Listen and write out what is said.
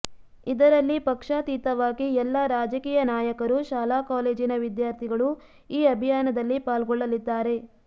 ಇದರಲ್ಲಿ ಪಕ್ಷಾತೀತವಾಗಿ ಎಲ್ಲ ರಾಜಕೀಯ ನಾಯಕರು ಶಾಲಾ ಕಾಲೇಜಿನ ವಿದ್ಯಾರ್ಥಿಗಳು ಈ ಅಭಿಯಾನದಲ್ಲಿ ಪಾಲ್ಗೊಳ್ಳಲಿದ್ದಾರೆ